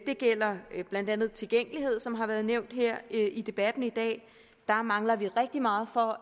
gælder blandt andet tilgængelighed som har været nævnt her i debatten i dag der mangler vi rigtig meget for